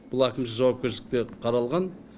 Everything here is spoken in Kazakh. бұл әкімшілік жауапкершілікте қаралған